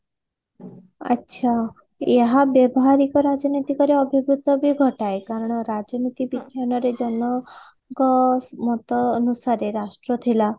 ଆଛା ଏହା ବ୍ୟବହାରିକ ରାଜନୈତିକ ର ଅଭିଭୂତ ବି ଘଟାଏ କାରଣ ରାଜନୀତି ବିଜ୍ଞାନରେ ରେ ଙ୍କ ମତ ଅନୁସାରେ ରାଷ୍ଟ୍ର ଥିଲା